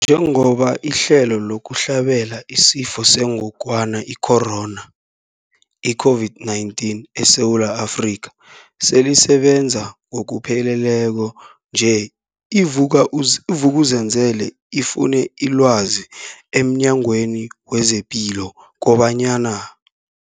Njengoba ihlelo lokuhlabela isiFo sengogwana i-Corona, i-COVID-19, eSewula Afrika selisebenza ngokupheleleko nje, i-Vuk'uzenzele ifune ilwazi emNyangweni wezePilo kobanyana.